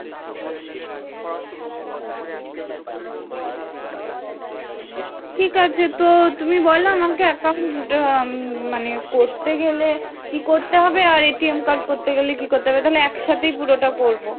ঠিক আছে তো, তুমি বলো আমাকে account উম মানে করতে গেলে কি করতে হবে আর card করতে গেলে কি করতে হবে ?তাহলে একসাথেই পুরোটা করবো,